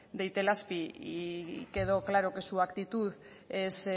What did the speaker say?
de itelazpi y quedó claro que su actitud es